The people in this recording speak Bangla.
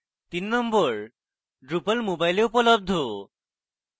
number 3: drupal মোবাইলে উপলব্ধ